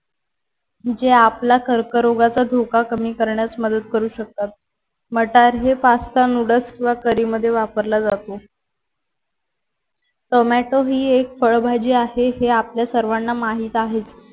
जे आपला कर्करोगाचा धोका कमी करण्यास मदत करू शकतात मटर हे पास्ता नूडल्स किंवा करी मध्ये वापरला जातो. टोमॅटो हे फळ भाजी आहे हे आपल्या सर्वांना माहीत आहे.